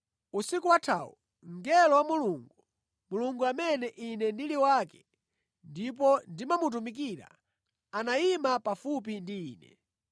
Usiku wathawu mngelo wa Mulungu, Mulungu amene ine ndili wake ndipo ndimamutumikira, anayima pafupi ndi ine,